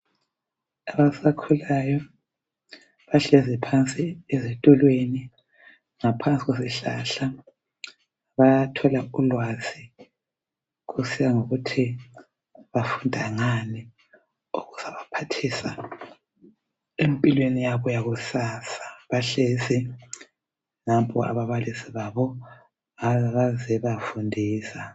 Abasakhulayo bahlezi phansi ezitulweni ngaphansi kwesihlahla bayathola ulwazi kusiya ngokuthi bafunda ngani okuzabaphathisa empilweni yabo yakusasa, bahlezi. Nampo ababalisi babo bazebafundisa.